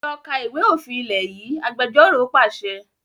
Lọ kà ìwé òfin ilé yìí! Agbẹjọ́ró pàṣẹ.